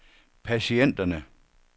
patienterne